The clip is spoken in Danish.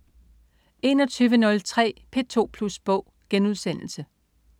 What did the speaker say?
21.03 P2 Plus Bog*